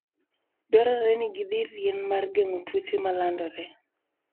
Dwarore ni gidhir yien mar geng'o tuoche ma landore.